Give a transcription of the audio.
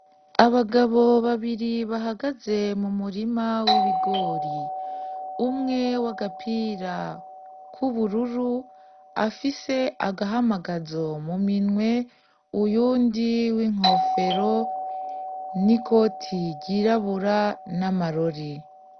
Abagabo babiri bahagaze mumurima w’ibigori umwe w'agapira k'ubururu afise agahamagazo mu minwe uyundi w'inkofero n’ikoti ryirabura n'amarori.